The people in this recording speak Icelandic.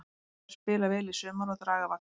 Hann þarf að spila vel í sumar og draga vagninn.